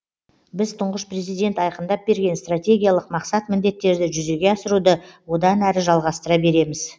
біз тұңғыш президент айқындап берген стратегиялық мақсат міндеттерді жүзеге асыруды одан әрі жалғастыра береміз